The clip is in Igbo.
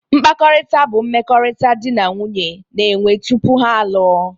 Mkpakọrịta bụ mmekọrịta di na nwunye na-enwe tupu ha alụọ